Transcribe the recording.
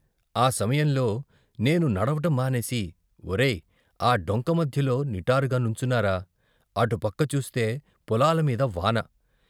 ఆ సమయంలో నేను నడవటం మానేసి, వొరేయ్, ఆ డొంక మధ్యలో నిటారుగా నుంచున్నారా. అటుపక్క చూస్తే పొలాల మీద వాన.